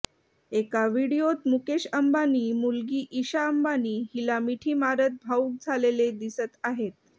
एका व्हिडीओत मुकेश अंबानी मुलगी ईशा अंबानी हिला मिठी मारत भावूक झालेले दिसत आहेत